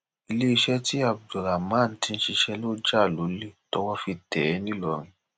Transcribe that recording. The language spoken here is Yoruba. iléeṣẹ tí abdulrahman ti ń ṣiṣẹ ló jà lólè tọwọ fi tẹ ẹ nìlọrin